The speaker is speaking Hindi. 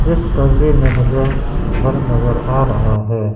इस तस्वीर में मुझे घर नजर आ रहा है।